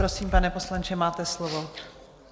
Prosím, pane poslanče, máte slovo.